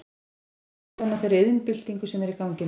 Hver er þín skoðun á þeirri iðnbyltingu sem er í gangi núna?